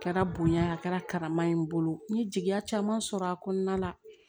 A kɛra bonya ye a kɛra karama ye n bolo n ye jigiya caman sɔrɔ a kɔnɔna la